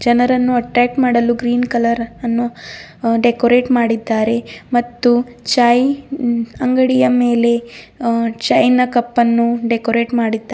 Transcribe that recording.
ಜನರನ್ನು ಅಟ್ರಾಕ್ಟ್ ಮಾಡಲು green colour ಅನ್ನು ಡೆಕೋರೇಟ್ ಮಾಡಿದ್ದಾರೆ ಮತ್ತು ಚೈಯ ಅಂಗಡಿಯ ಮೇಲೆ ಚೈಯನ ಕಪ್ ಅನ್ನು ಡೆಕೋರೇಟ್ ಮಾಡಿದ್ದಾ --